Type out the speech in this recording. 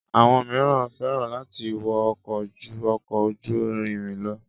Àwọn miran fẹ́ràn láti wọ ọkọ̀ ju ọkọ̀ ojú-irin lọ